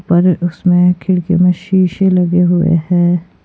पर उसमें खिड़की में शीशे लगे हुए हैं।